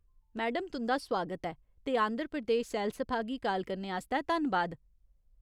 Madam तुं'दा सुआगत ऐ ते आंध्र प्रदेश सैलसफा गी काल करने आस्तै धन्नबाद।